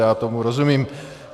Já tomu rozumím.